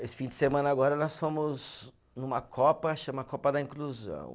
Esse fim de semana agora nós fomos numa copa, chama Copa da Inclusão.